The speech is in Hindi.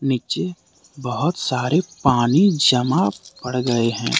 नीचे बहोत सारे पानी जमा पड़ गए हैं।